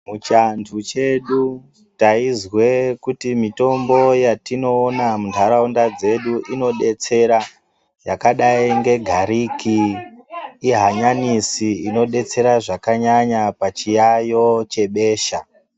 Muchianthu chedu taizwe kuti mitombo yatinoone muntaraunda dzedu inodetsera yakadai ngegariki, hanyanisi inodetsera zvakanyanya pachiyaiyo chebesha.